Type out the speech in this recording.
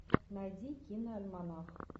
найди киноальманах